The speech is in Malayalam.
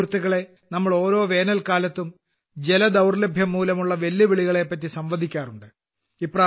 സുഹൃത്തുക്കളേ നാം ഓരോ വേനൽക്കാലത്തും ജലദൌർലഭ്യംമൂലമുള്ള വെല്ലുവിളികളെപറ്റി സംവദിക്കാറുണ്ട്